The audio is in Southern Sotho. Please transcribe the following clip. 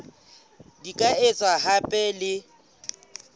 di ka etswa hape le